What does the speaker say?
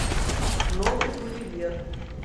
новый гулливер